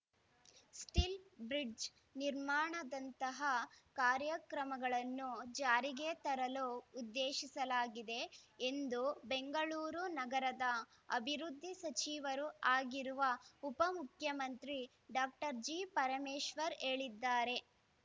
steel bridge ನಿರ್ಮಾಣದಂತಹ ಕಾರ್ಯಕ್ರಮಗಳನ್ನು ಜಾರಿಗೆ ತರಲು ಉದ್ದೇಶಿಸಲಾಗಿದೆ ಎಂದು ಬೆಂಗಳೂರು ನಗರದ ಅಭಿವೃದ್ಧಿ ಸಚಿವರೂ ಆಗಿರುವ ಉಪಮುಖ್ಯಮಂತ್ರಿ ಡಾಕ್ಟರ್ ಜಿ ಪರಮೇಶ್ವರ್ ಹೇಳಿದ್ದಾರೆ